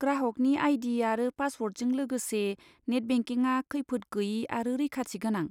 ग्राहकनि आई.डी. आरो पासवर्डजों लोगोसे नेट बेंकिंआ खैफोद गोयि आरो रैखाथि गोनां।